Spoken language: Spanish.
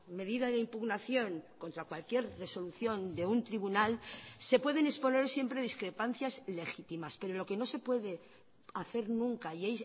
medida de impugnación contra cualquier resolución de un tribunal se pueden exponer siempre discrepancias legítimas pero lo que no se puede hacer nunca y